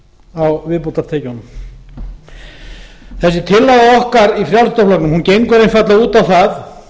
á viðbótartekjunum þessi tillaga okkar í frjálslynda flokknum gengur einfaldlega út á það